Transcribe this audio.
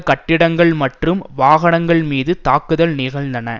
கட்டிடங்கள் மற்றும் வாகனங்கள் மீது தாக்குதல் நிகழ்ந்தது